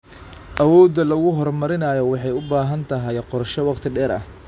Awoodda lagu horumarinayo waxay u baahan tahay qorshe wakhti dheer ah.